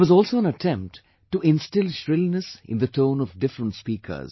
There was also an attempt to instill shrillness in the tone of different speakers